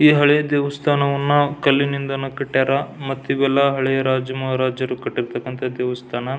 ಈ ಹಳೆ ದೇವಸ್ಥಾನವನ್ನ ಕಲ್ಲಿನಿಂದನಾ ಕಟ್ಟಿಯರ ಮತ್ತಿವೆಲ್ಲ ಹಳೆ ರಾಜ ಮಹಾರಾಜರು ಕಟ್ಟಿರ್ತಕ್ಕಂತಹ ದೇವಸ್ಥಾನ.